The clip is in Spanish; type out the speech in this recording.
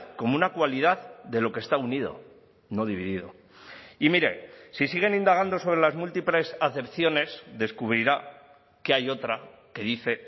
como una cualidad de lo que está unido no dividido y mire si siguen indagando sobre las múltiples acepciones descubrirá que hay otra que dice